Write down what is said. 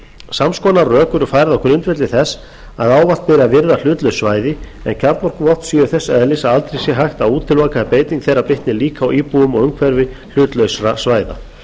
sams konar rök eru færð á grundvelli þess að ávallt beri að virða hlutlaus svæði en kjarnorkuvopn séu þess eðlis að aldrei sé hægt að útiloka að beiting þeirra bitni eiga á íbúum og umhverfi hlutlausra svæða